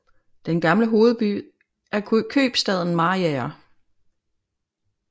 Den gamle hovedby er købstaden Mariager